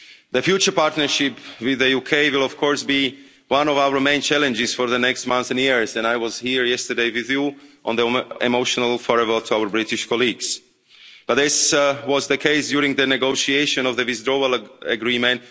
The future partnership with the UK will, of course, be one of our main challenges for the next months and years, and I was here yesterday with you on the emotional farewell to our British colleagues, but this was the case during the negotiation of the Withdrawal Agreement.